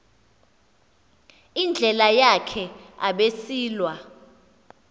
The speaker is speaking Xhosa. indlela yakhe abesilwa